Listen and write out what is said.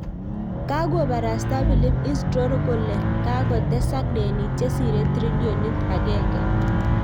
Kagobarasta philip isdor kole kagotesak denit chesire trillionit agenge.